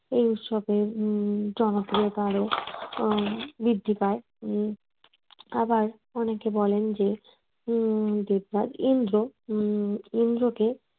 এই উৎসবের উম জনপ্রিয়তা আরো আহ বৃদ্ধি পায়। উম আবার অনেকে বলেন যে উম দেবরাজ ইন্দ্র উম ইন্দ্র কে